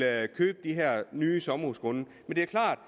at købe de her nye sommerhusgrunde men det er klart